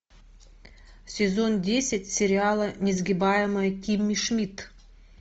сезон десять сериала несгибаемая кимми шмидт